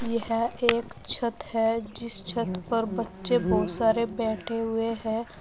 ये हैं एक छत है जिस छत पर बच्चे बहुत सारे बैठे हुए हैं।